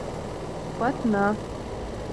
патна